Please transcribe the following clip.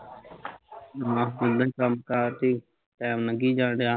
ਆਹੋ ਕੰਮ ਕਾਰ ਚ ਈ ਟੈਮ ਲੰਘੀ ਜਾਣ ਡਿਆ